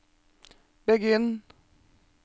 begynn